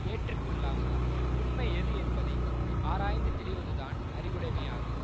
ஏற்று கொள்ளாமல் உண்மை எது என்பதை ஆராய்ந்து தெளிவதுதான் அறிவுடைமையாகும்